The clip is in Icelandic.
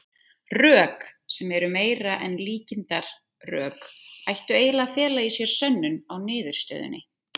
Rök, sem eru meira en líkindarök, ættu eiginlega að fela í sér sönnun á niðurstöðunni.